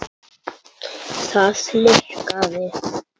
Það líkaði